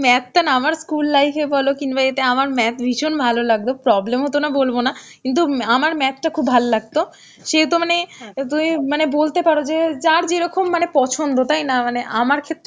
math টা না আমার school life এ বলো কিংবা এতে আমার math ভীষণ ভালো লাগত, problem হত না বলবো না, কিন্তু আমার math টা খুব ভাল লাগত সে তো মানে মানে তো এই বলতে পারো যে যার যেরকম মানে পছন্দ তাই না, মানে আমার ক্ষেত্রেও